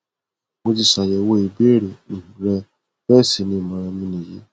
mo ti ṣàyẹwò ìbéèrè um rẹ bẹẹ sì ni ìmọràn mi nìyí